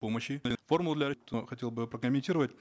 помощи хотел бы прокомментировать